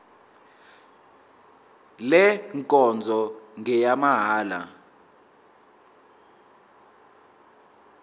le nkonzo ngeyamahala